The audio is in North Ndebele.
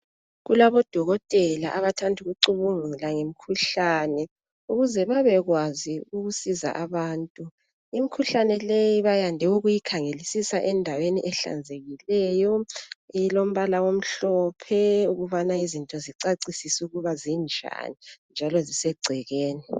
Kulabodokotela abathanda ukucubungula ngemikhuhlane ukuze babekwazi ukusiza abantu imkhuhlane leyi bayande ukuyikhangelisisa endaweni ehlanzekileyo elombala emhlophe ukubana izinto zicacisise ukuba zinjani njalo sisegcekeni.